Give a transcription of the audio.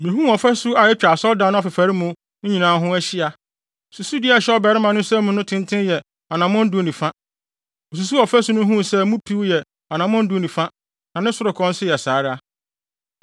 Mihuu ɔfasu a atwa asɔredan no afefare mu nyinaa ho ahyia. Susudua a ɛhyɛ ɔbarima no nsam no tenten yɛ anammɔn du ne fa. Osusuw ɔfasu no huu sɛ mu piw yɛ anammɔn du ne fa, na ne sorokɔ nso saa ara.